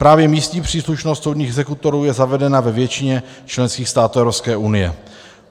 Právě místní příslušnost soudních exekutorů je zavedena ve většině členských států Evropské unie.